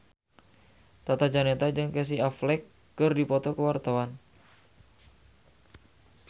Tata Janeta jeung Casey Affleck keur dipoto ku wartawan